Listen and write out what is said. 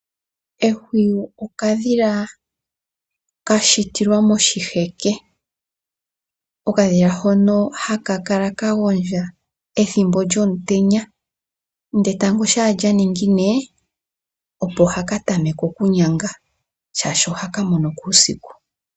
Ehwiyu okadhila kashitilwa moshiheke, okadhila hono hakala kagondja ethimbo lyotenya nde etango sha lyaningine, opo hakatameke okunyanga shashi oha kamonoko uusiku.